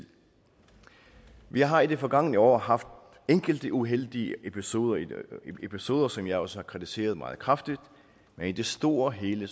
vi har i det forgangne år haft enkelte uheldige episoder episoder som jeg også har kritiseret meget kraftigt men i det store hele